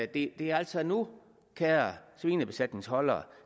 det er altså nu kære svinebesætningsholdere